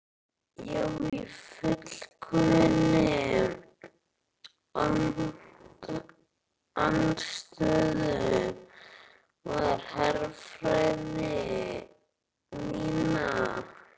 Já í fullkominni andstöðu við herfræði mína.